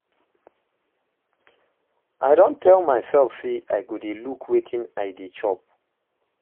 I don tell my self say I go dey look wetin I dey chop